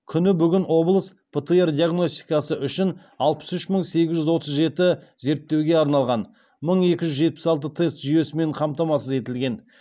күні бүгін облыс птр диагностикасы үшін алпыс үш мың сегіз жүз отыз жеті зерттеуге арналған мың екі жүз жетпіс алты тест жүйесімен қамтамасыз етілген